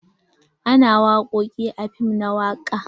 Ana wakoki a fim na waka.